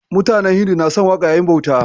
Mutanen Hindu na son waƙa yayin bauta